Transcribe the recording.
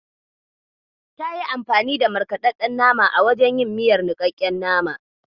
Tayi anfani da markaɗaɗɗen nama a wajen yin miyar niƙaƙken nama.